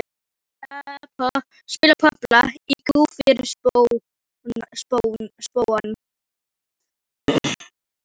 Spila popplag í kú fyrir spóann.